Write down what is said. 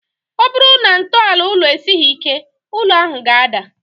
Ọ bụrụ na ntọala ụlọ esighi ike, ụlọ ahụ ga-ada